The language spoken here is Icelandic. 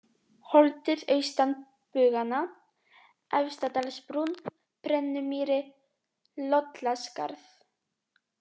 Holtið austan Buganna, Efstadalsbrún, Brennumýri, Lollaskarð